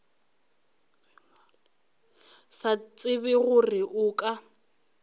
sa tsebe gore a ka